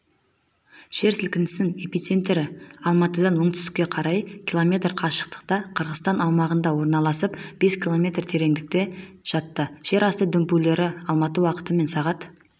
жер сілкінісінің эпицентрі алматыдан оңтүстікке қарай километр қашықтықта қырғызстан аумағында орналасып бес километр тереңдікте жатты жер асты дүмпулері алматы уақытымен сағат